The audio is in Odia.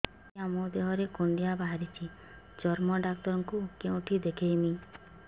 ଆଜ୍ଞା ମୋ ଦେହ ରେ କୁଣ୍ଡିଆ ବାହାରିଛି ଚର୍ମ ଡାକ୍ତର ଙ୍କୁ କେଉଁଠି ଦେଖେଇମି